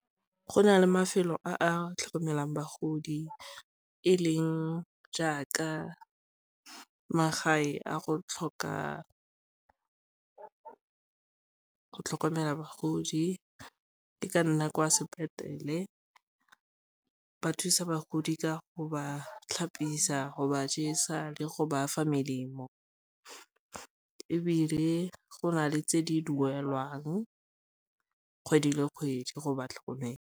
Go na le mafelo a a tlhokomelang bagodi e leng jaaka magae a go tlhokomela bagodi ke ka nna kwa sepetlele ba thusa bagodi ka go ba tlhapisiwa go ba jesa le go ba fa melemo ebile go na le tse di duelwang kgwedi le kgwedi go ba tlhokomela.